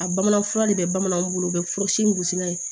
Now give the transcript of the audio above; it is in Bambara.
A bamanan fura de bɛ bamananw bolo u bɛ fɔ si mugusina ye